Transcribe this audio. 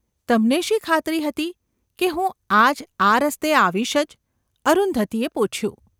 ‘તમને શી ખાતરી હતી કે હું આજ આ રસ્તે આવીશ જ ?’ અરુંધતીએ પૂછ્યું.